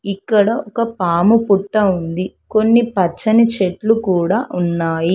ఇక్కడ ఒక పాము పుట్ట ఉంది. కొన్ని పచ్చని చెట్లు కూడా ఉన్నాయి.